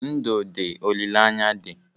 Ndụ dị, olileanya dị